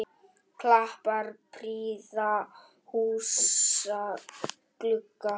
Kappar prýða húsa glugga.